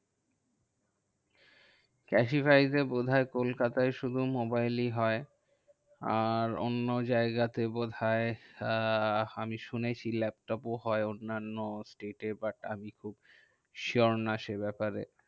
Cashify এ বোধহয় কলকাতায় শুধু মোবাইলই হয়। আর অন্য জায়গাতে বোধহয় আহ আমি শুনেছি ল্যাপটপ ও হয় অন্যান্য state এ। but আমি খুব sure নয় সেই ব্যাপারে।